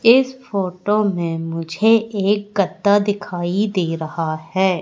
इस फोटो में मुझे एक गद्दा दिखाई दे रहा है।